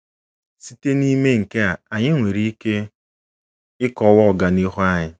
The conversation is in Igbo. Site n'ime nke a, anyị nwere ike ịkọwa ọganihu anyị.